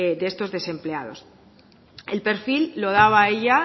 de estos desempleados el perfil lo daba ella